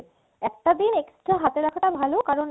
একটা দিন extra হাতে রাখাটা ভালো কারণ